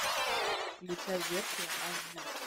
включай версия аш ди